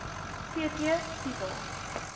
v t titel